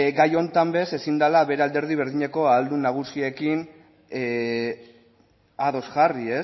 gai honetan bez ezin dala bere alderdi berdineko ahaldun nagusiekin ados jarri